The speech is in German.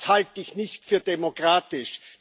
Das halte ich nicht für demokratisch.